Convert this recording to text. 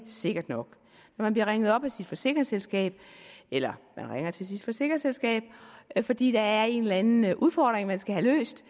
sikker nok når man bliver ringet op af sit forsikringsselskab eller man ringer til sit forsikringsselskab fordi der er en eller anden udfordring man skal have løst